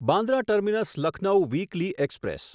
Bandra terminus Lucknow weekly express